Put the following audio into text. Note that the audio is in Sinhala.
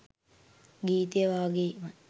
ගීතය වගේම